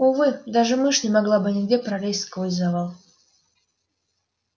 увы даже мышь не могла бы нигде пролезть сквозь завал